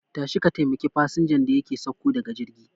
Tashi ka taimaki fasinjan da yake sauko daga jirgi